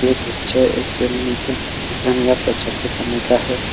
ये पिक्चर एक दुनिया पिक्चर के सामने क्या है।